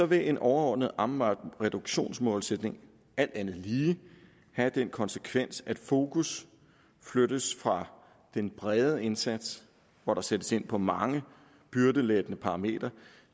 vil en overordnet amvab reduktionsmålsætning alt andet lige have den konsekvens at fokus flyttes fra en bred indsats hvor der sættes ind på mange byrdelettende parametre